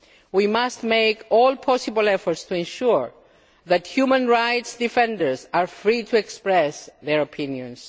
We must make all possible efforts to ensure that human rights defenders are free to express their opinions.